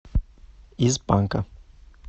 из банка